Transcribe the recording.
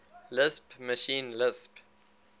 lisp machine lisp